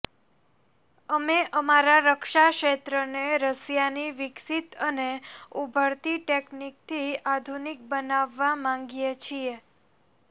અમે અમારા રક્ષા ક્ષેત્રને રશિયાની વિકસીત અને ઊભરતી ટેકનીકથી આધુનિક બનાવવા માંગીએ છીએ